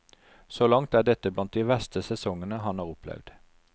Så langt er dette blant de verste sesongene han har opplevd.